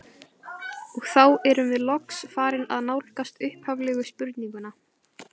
Og þá erum við loks farin að nálgast upphaflegu spurninguna.